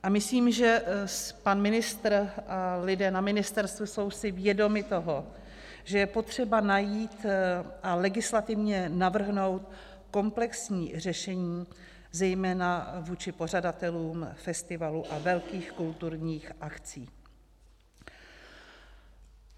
A myslím, že pan ministr a lidé na ministerstvu jsou si vědomi toho, že je potřeba najít a legislativně navrhnout komplexní řešení zejména vůči pořadatelům festivalů a velkých kulturních akcí.